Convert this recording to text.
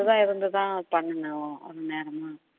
விரதம் இருந்து தான் பண்ணுனோம் நேரமா